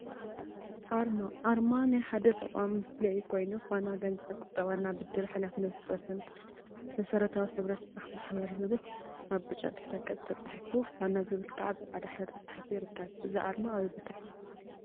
አርማ አርማ ናይ ሓደ ተቋም መፍለይ ኮይኑ፤ ፋና ገንዘብ ቁጠባና ብድር ሓላፍነቱ ዝተወሰነ መሰረታዊ ናይ ሕብረት ስራሕ ማሕበር ዝብል አብ ብጫ ድሕረ ገፅ ተፃሒፉ ፋና ዝብል ከዓ ብፃዕዳ ሕብሪ ተፃሒፉ ይርከብ፡፡ እዚ አርማ አበይ ቦታ እዩያ?